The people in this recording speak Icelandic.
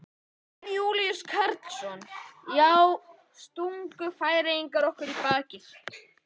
Jón Júlíus Karlsson: Já, stungu Færeyingar okkur í bakið?